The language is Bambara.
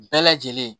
Bɛɛ lajɛlen